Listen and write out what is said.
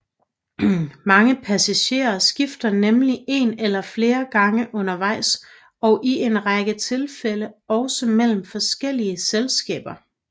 Mange passagerer skifte nemlig en eller flere gange undervejs og i en række tilfælde også mellem forskellige selskaber